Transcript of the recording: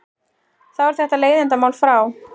Þá er þetta leiðindamál frá.